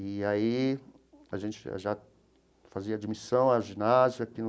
E aí, a gente já fazia admissão à ginásio aqui no...